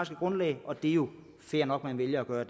grundlag og det er jo fair nok at man vælger at